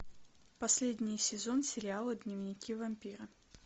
последний сезон сериала дневники вампира